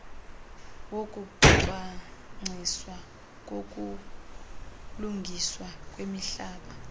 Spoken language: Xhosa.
wokucwangciswa kokulungiswa kwemihlaba